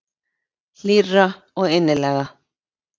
Hlýrra og innilegra.